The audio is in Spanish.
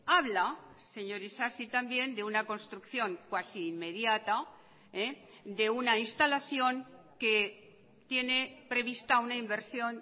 habla señor isasi también de una construcción cuasi inmediata de una instalación que tiene prevista una inversión